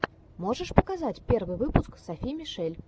можешь показать первый выпуск софи мишель